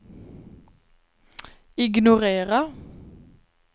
ignorera